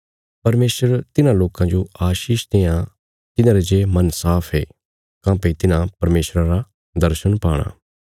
परमेशर तिन्हां लोकां जो आशीष देआं तिन्हारे जे मन साफ ये काँह्भई तिन्हां परमेशरा रा दर्शण पाणा